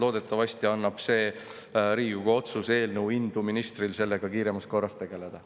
Loodetavasti annab see Riigikogu otsuse eelnõu ministrile indu sellega kiiremas korras tegeleda.